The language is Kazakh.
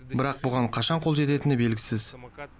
бірақ бұған қашан қол жететіні белгісіз